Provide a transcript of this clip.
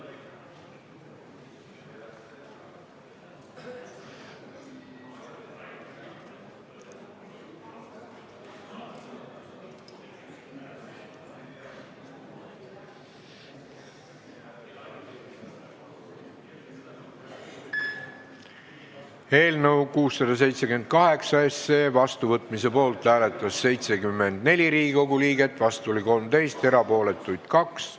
Hääletustulemused Eelnõu 678 seadusena vastuvõtmise poolt hääletas 74 Riigikogu liiget, vastu oli 13, erapooletuks jäi 2.